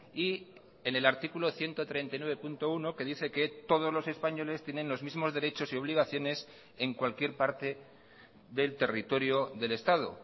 y en el artículo ciento treinta y nueve punto uno que dice que todos los españoles tienen los mismos derechos y obligaciones en cualquier parte del territorio del estado